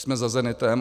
Jsme za zenitem.